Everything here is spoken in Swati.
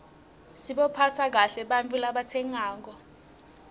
sibaphatse kahle ebantfu labatsengako